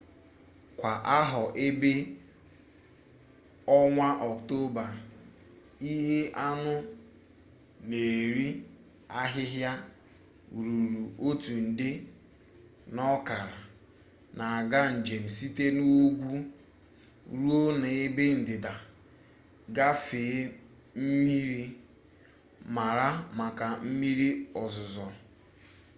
kwa ahọ ebe ọnwa ọktoba ihe anụ n'eri ahịhịa ruru otu nde n'okara n'aga njem site n'ugwu ruo n'ebe ndịda gafee mmiri mara maka mmiri ozuzo